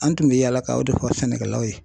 An tun bɛ yaala ka o de fɔ sɛnɛkɛlaw ye